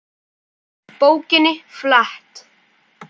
Bókinni flett.